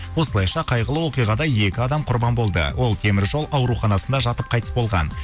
осылайша қайғылы оқиғада екі адам құрбан болды ол теміржол ауруханасында жатып қайтыс болған